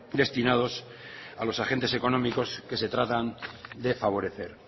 destinados a los agentes económicos que se tratan de favorecer